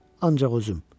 Ancaq özüm.